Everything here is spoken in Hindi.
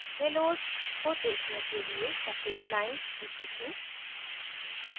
हेलोज़ को देखने के लिए सफेद lines दिखी थीं